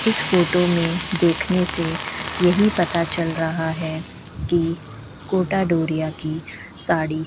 इस फोटो में देखने से यही पता चल रहा है कि कोटा डोरिया की साड़ी --